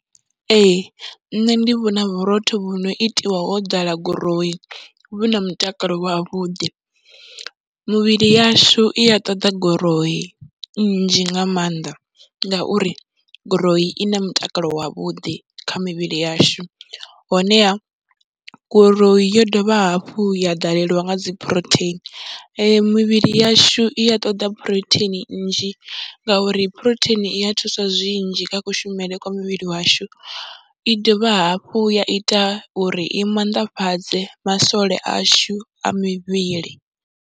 Ee, nṋe ndi vhona vhurotho vhu no itiwa ho ḓala gurowu, vhu na mutakalo wavhuḓi, mivhili yashu i a ṱoḓa guroyi nnzhi nga maanḓa ngauri guroyi i na mutakalo wavhuḓi kha mivhili yashu honeha guroyi yo dovha hafhu ya ḓalelwa nga dzi phurotheini ende mivhili yashu i ya ṱoḓa phurotheini nnzhi, ngauri phurotheini i ya thusa zwinzhi kha kushumele kwa mivhili yashu, i dovha hafhu ya ita uri i maanḓafhadze masole ashu a mivhili.